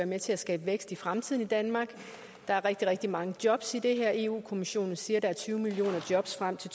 med til at skabe vækst i fremtiden i danmark der er rigtig rigtig mange jobs i det her eu kommissionen siger at der er tyve millioner jobs frem til